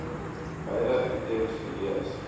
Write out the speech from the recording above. beide items gelees